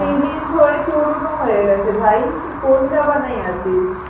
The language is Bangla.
Release হয়ে পুরোনো হয়ে গেছে ভাই তুই কোন জামানায় আছিস?